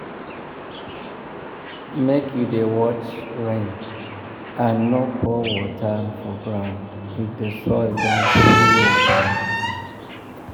make you dey watch rain and no pour water for ground if the the soil don full water.